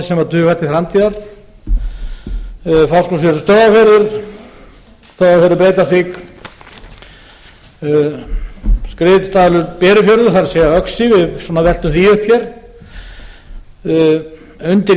sem dugar til framtíðar fáskrúðsfjörður stöðvarfjörður stöðvarfjörður breiðdalsvík skriðdalur berufjörður það er öxi við svona veltum því upp hér undir